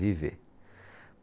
Viver.